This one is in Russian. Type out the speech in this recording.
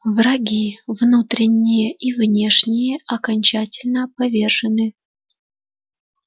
враги внутренние и внешние окончательно повержены